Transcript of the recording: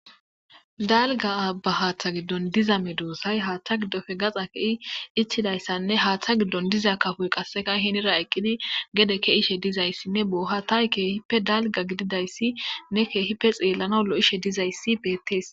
Dalga aba hatha gidon diza medosay hata gidope gaxa ke'i ichizaysanne hatha gidon diza kafoy qaseka hinira eqidi gede ke'ishe dizaysinne bohetay kehipe dalga gididaysinne kehipe xelanaw lo'ishe dizaysi betes.